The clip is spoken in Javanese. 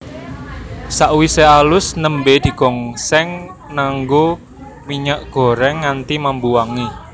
Sakwise alus nembé digongsèng nganggo minyak gorèng nganti mambu wangi